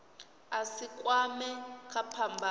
a si kwamee kha phambano